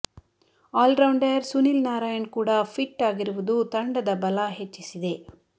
allrounder Sunil Narayan ಕೂಡ fit ಆಗಿರುವುದು ತಂಡದ ಬಲ ಹೆಚ್ಚಿಸಿದೆ